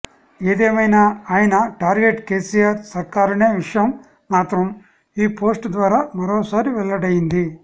ఏదేమైనా ఆయన టార్గెట్ కేసీఆర్ సర్కారనే విషయం మాత్రం ఈ పోస్ట్ ద్వారా మరోసారి వెల్లడైంది